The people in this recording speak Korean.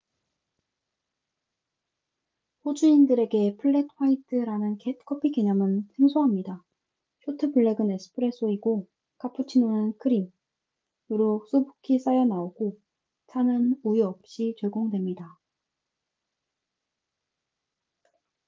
호주인들에게 '플렛 화이트'라는 커피 개념은 생소합니다. 쇼트 블랙은 '에스프레소'이고 카푸치노는 크림 거품이 아님으로 수북히 쌓여 나오고 차는 우유 없이 제공됩니다